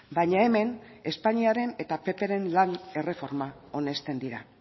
baina hemen espainiaren eta ppren lan erreforma onesten dira